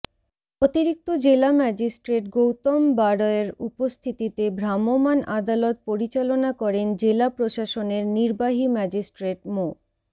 অতিরিক্ত জেলা ম্যাজিস্ট্রেট গৌতম বাড়ৈর উপস্থিতিতে ভ্রাম্যমাণ আদালত পরিচালনা করেন জেলা প্রশাসনের নির্বাহী ম্যাজিস্ট্রেট মো